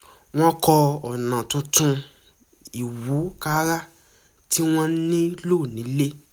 wọ́n kọ́ ọ̀nà tuntun ìwúkàrà tí wọ́n ń lò ní ilé